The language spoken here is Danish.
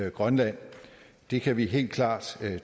i grønland det kan vi helt klart